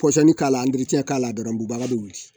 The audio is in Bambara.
pɔsɔni k'a k'a la dɔrɔn bubaga bɛ wuli